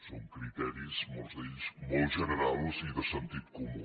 són criteris molts d’ells molt generals i de sentit comú